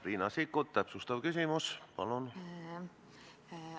Riina Sikkut, täpsustav küsimus, palun!